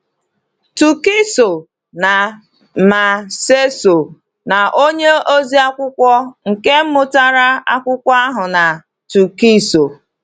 Túkìsò na Màséisò na onye oziakwụkwọ nke mụtara akwụkwọ ahụ na Túkìsò.